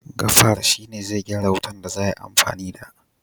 gafar shi ne zai gyara wutan da za a yi amfani da